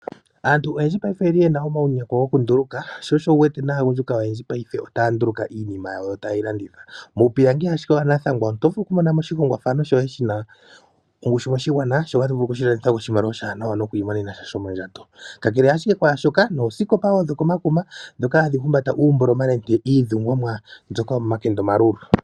Aantu oyendji oyena uunongo wokunduluka sho osho wuwete aagundjuka paife otaya nduluka iinima taya landitha. Muupilangi wanathangwa oto vulu okumona mo oshinima shina ongushu moshigwana eto imonene sha shomondjato kakele kwaashoka ooskopa wo dhokomakuma dhoka hadhi humbata uumboloma niidhungomwa ndyoka yomomakende omalulu.